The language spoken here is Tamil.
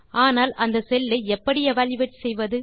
ஆனால் அந்த செல் ஐ எப்படி எவல்யூயேட் செய்வது